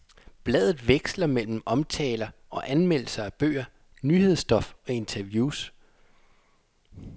Bladet veksler mellem omtaler og anmeldelser af bøger, nyhedsstof og interviews.